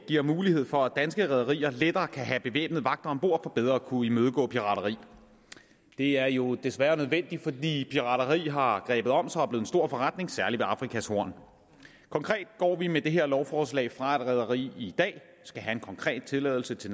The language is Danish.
giver mulighed for at danske rederier lettere kan have bevæbnede vagter om bord for bedre at kunne imødegå pirateri det er jo desværre nødvendigt fordi pirateri har grebet om sig og er blevet en stor forretning særlig ved afrikas horn konkret går vi med det her lovforslag fra at et rederi i dag skal have en konkret tilladelse til